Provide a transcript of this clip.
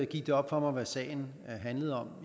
gik det op for mig hvad sagen handlede om